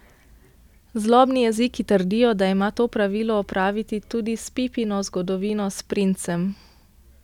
Zlobni jeziki trdijo, da ima to pravilo opraviti tudi s Pippino zgodovino s princem.